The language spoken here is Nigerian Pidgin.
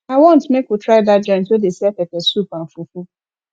i wan make we try dat joint wey dey sell pepper soup and fufu